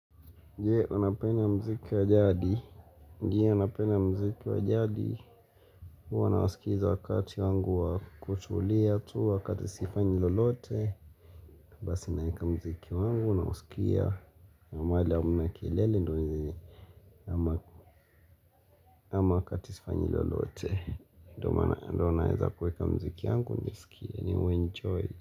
Je, wanapena mziki wa jadi. Je, wanapenda mziki wa jadi. Huwa nawaskiza wakati wangu wa kutulia tu wakati sifanyi lolote. Basi naeka mziki wangu na uskia. Namahali hamna kelele ndozi ama katisifanyi lolote. Ndo maaana naeza kuweka mziki wangu, niskia ni uenjoy.